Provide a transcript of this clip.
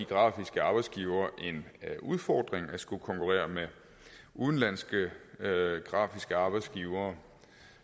grafiske arbejdsgivere en udfordring at skulle konkurrere med udenlandske grafiske arbejdsgivere